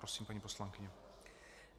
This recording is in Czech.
Prosím, paní poslankyně.